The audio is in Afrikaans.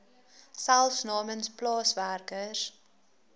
selfs namens plaaswerkers